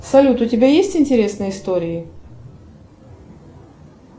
салют у тебя есть интересные истории